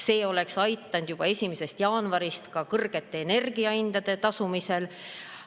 See oleks aidanud juba 1. jaanuarist ka kõrgete energiahindade eest tasumisel.